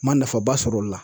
N ma nafa ba sɔrɔ o de la.